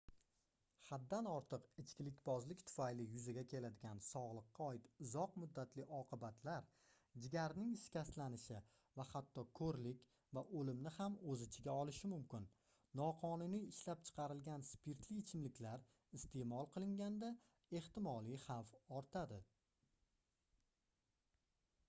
haddan ortiq ichkilikbozlik tufayli yuzaga keladigan sogʻliqqa oid uzoq muddatli oqibatlar jigarning shikastlanishi va hatto koʻrlik va oʻlimni ham oʻz ichiga olishi mumkin noqonuniy ishlab chiqarilgan spirtli ichimliklar isteʼmol qilinganda ehtimoliy xavf ortadi